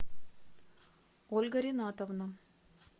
ольга ринатовна